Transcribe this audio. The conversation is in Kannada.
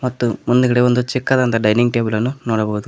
ತ್ತು ಮುಂದ್ಗಡೆ ಒಂದು ಚಿಕ್ಕದಾದಂತ ಡೈನಿಂಗ್ ಟೇಬಲನ್ನು ನೋಡಬಹುದು.